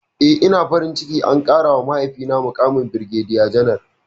Eh, ina farin ciki an ƙarawa mahaifina muƙamin birgediya janar.